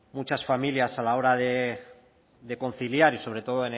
muchas familias a la hora de conciliar y sobre todo